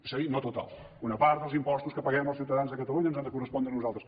és a dir no total una part dels impostos que paguem els ciutadans de catalunya ens han de correspondre a nosaltres